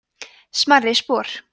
smærri spor